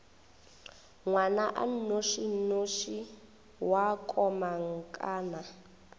ngwana a nnošinoši wa komangkanna